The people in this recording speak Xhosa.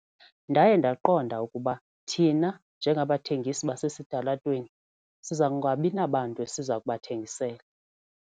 Ndaye ndaqonda ukuba thina njengabathengisi basesitalatweni siza kungabi nabantu siza kubathengisela.